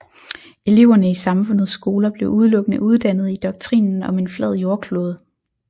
Eleverne i samfundets skoler blev udelukkende uddannet i doktrinen om en flad jordklode